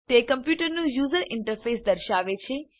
તે કમ્પ્યુટરનું user interface દર્શાવે છે